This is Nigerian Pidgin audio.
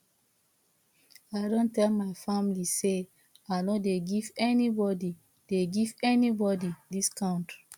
i don tell my family sey i no dey give anybodi dey give anybodi discount